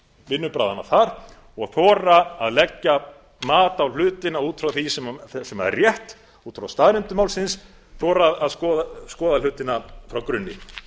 vinnubragðanna þar og þora að leggja mat á hlutina út frá því sem er rétt út frá staðreyndum málsins þora að skoða hlutina frá grunni